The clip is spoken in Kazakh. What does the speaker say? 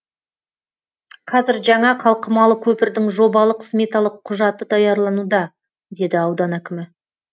қазір жаңа қалқымалы көпірдің жобалық сметалық құжаты даярлануда деді аудан әкімі